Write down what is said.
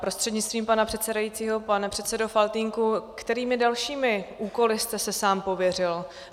Prostřednictvím pana předsedajícího pane předsedo Faltýnku, kterými dalšími úkoly jste se sám pověřil?